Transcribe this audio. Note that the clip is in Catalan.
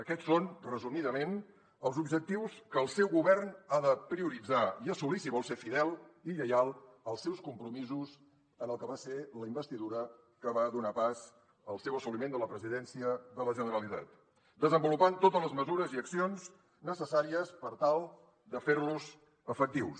aquests són resumidament els objectius que el seu govern ha de prioritzar i assolir si vol ser fidel i lleial als seus compromisos en el que va ser la investidura que va donar pas al seu assoliment de la presidència de la generalitat desenvolupant totes les mesures i accions necessàries per tal de fer los efectius